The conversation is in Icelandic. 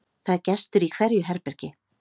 Það er gestur í hverju herbergi.